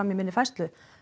í minni færslu